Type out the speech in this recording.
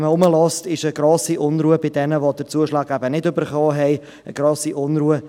Wenn man sich umhört, ist eine grosse Unruhe bei jenen vorhanden, die den Zuschlag eben nicht erhalten haben.